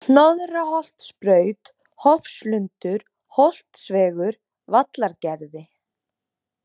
Hnoðraholtsbraut, Hofslundur, Holtsvegur, Vallargerði